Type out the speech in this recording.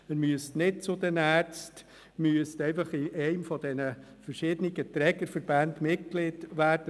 Er müsste nicht zu den Ärzten, er müsste lediglich Mitglied eines dieser verschiedenen Trägerverbände werden.